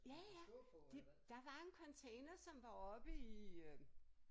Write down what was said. Ja ja de der var en container som var oppe i øh